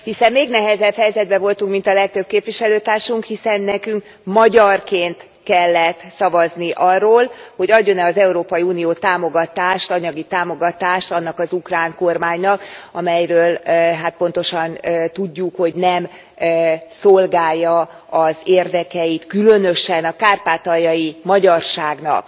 Hiszen még nehezebb helyzetben voltunk, mint a legtöbb képviselőtársunk, hiszen nekünk magyarként kellett szavazni arról, hogy adjon e az Európai Unió támogatást, anyagi támogatást annak az ukrán kormánynak, amelyről hát pontosan tudjuk, hogy nem szolgálja az érdekeit különösen a kárpátaljai magyarságnak.